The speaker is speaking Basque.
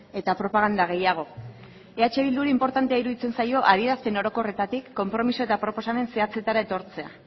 eta propaganda gehiago eh bilduri inportantea iruditzen zaio adierazpen orokorretatik konpromezu eta proposamen zehatzetara etortzea